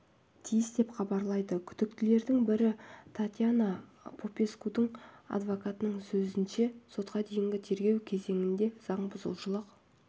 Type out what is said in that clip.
тиіс деп хабарлайды күдіктілердің бірі татьяна попескудың адвокатының сөзінше сотқа дейінгі тергеу кезеңінде заң бұзушылық